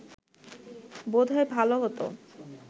বোধ হয় ভালো হতো